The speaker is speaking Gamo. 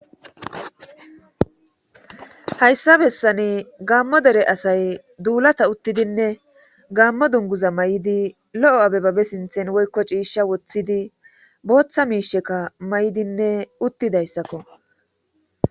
Hayssa bessani gaammo dere asay duulata uttidinne gammo dunguza may7idi lo7o abe babe sinthen woykko ciisha woththidi booththa miisheka may7idinne uttidayssakko